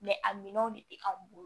a minɛnw de bɛ anw bolo